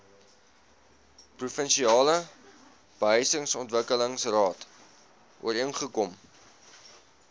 provinsiale behuisingsontwikkelingsraad ooreengekom